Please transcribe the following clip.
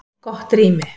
Gott rými